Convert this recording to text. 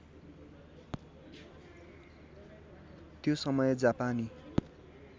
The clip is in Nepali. त्यो समय जापानी